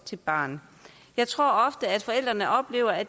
til barnet jeg tror ofte at forældrene oplever at